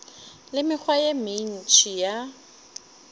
le mekgwa ye mentši ya